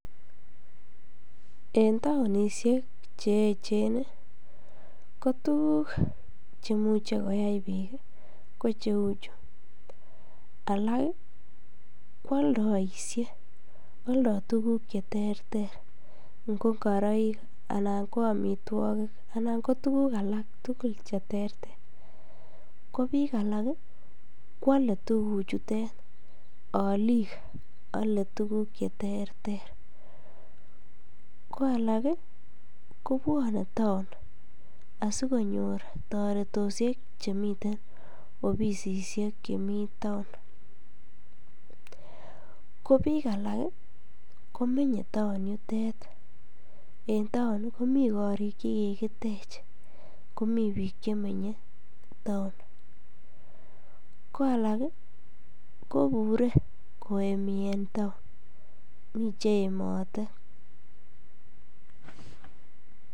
En taonishek cheechen ko tuguk chemuche koyat piik ko cheuchu. Alak koaldaishe aldai tuguuk cheterter ngo ngoroik alan ko amitwokik akotuguuk alak tugul cheterter ko biik alak koale tuguchutee alik alei tuguuk cheterter koalak kopuone taon asikonyor toreteosiek chemiten ofisisiek chemi town, ko biik alak komenyei town yutet en town komi korik chekikitech komi biik chemenyei town ko alak kopure koemi en town mi cheemate.